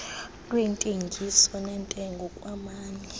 lweentengiso neentengo kwamanye